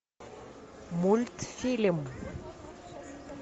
мультфильм